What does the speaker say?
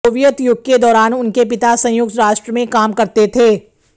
Soviet युग के दौरान उनके पिता संयुक्त राष्ट्र में काम करते थे